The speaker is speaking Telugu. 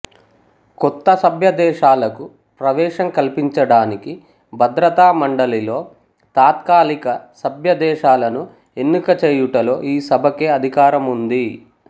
కొత్త సభ్యదేశాలకు ప్రవేశం కల్పించడానికి భద్రతామండలిలో తాత్కాలిక సభ్యదేశాలను ఎన్నిక చేయుటలో ఈ సభకే అధికారముంది